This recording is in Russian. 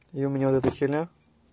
и у меня вот эта херня